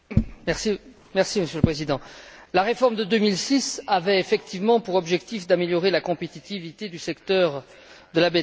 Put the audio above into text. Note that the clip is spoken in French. Monsieur le Président, la réforme de 2006 avait effectivement pour objectif d'améliorer la compétitivité du secteur de la betterave en Europe.